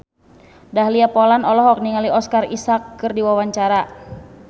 Dahlia Poland olohok ningali Oscar Isaac keur diwawancara